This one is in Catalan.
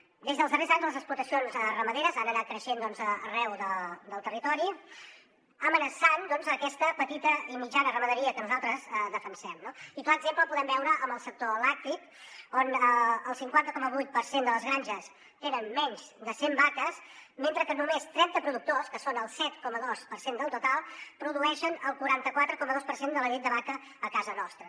des dels darrers anys les explotacions ramaderes han anat creixent arreu del territori amenaçant aquesta petita i mitjana ramaderia que nosaltres defensem no i el clar exemple el podem veure en el sector làctic on el cinquanta coma vuit per cent de les granges tenen menys de cent vaques mentre que només trenta productors que són el set coma dos per cent del total produeixen el quaranta quatre coma dos per cent de la llet de vaca a casa nostra